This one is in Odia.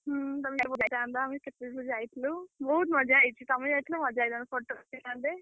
ହୁଁ ଯାଇଥାନ୍ତ ଆମେ କେତେ ସବୁ ଯାଇଥିଲୁ। ବହୁତ୍ ମଜା ହେଇଛି। ତମେ ଯାଇଥିଲେ ମଜା ହେଇଥାନ୍ତା photo ଉଠେଇଥାନ୍ତେ।